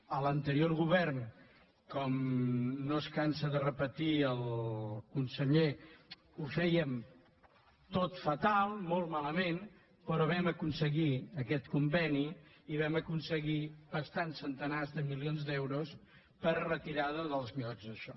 a l’anterior govern com no es cansa de repetir el conseller ho fèiem tot fatal molt malament però vam aconseguir aquest conveni i vam aconseguir bastants centenars de milions d’euros per a retirada dels llots i això